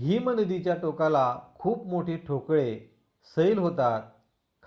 हिमनदीच्या टोकाला खूप मोठे ठोकळे सैल होतात